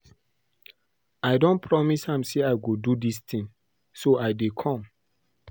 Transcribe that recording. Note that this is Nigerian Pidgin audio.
I don promise am say I go do dis thing so I dey come